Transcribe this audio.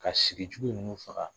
Ka sigijugu ninnu faga